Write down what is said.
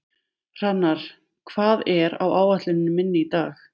Hrannar, hvað er á áætluninni minni í dag?